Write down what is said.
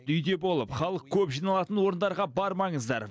үйде болып халық көп жиналатын орындарға бармаңыздар